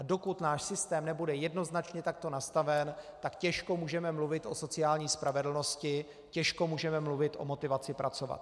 A dokud náš systém nebude jednoznačně takto nastaven, tak těžko můžeme mluvit o sociální spravedlnosti, těžko můžeme mluvit o motivaci pracovat.